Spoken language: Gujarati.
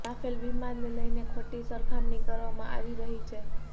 રાફેલ વિમાનને લઈને ખોટી સરખામણી કરવામાં આવી રહી છે